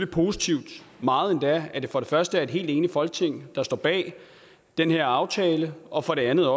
positivt meget endda at det for det første er et helt enigt folketing der står bag den her aftale og for det andet